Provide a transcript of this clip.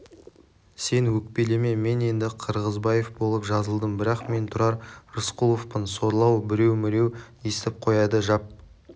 сен өкпелеме мен енді қырғызбаев болып жазылдым бірақ мен тұрар рысқұловпын сорлы-ау біреу-міреу естіп қояды жап